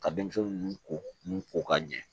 Ka denmisɛnnin ninnu ko ninnu ko ka ɲɛ